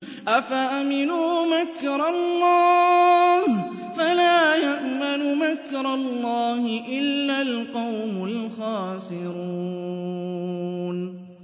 أَفَأَمِنُوا مَكْرَ اللَّهِ ۚ فَلَا يَأْمَنُ مَكْرَ اللَّهِ إِلَّا الْقَوْمُ الْخَاسِرُونَ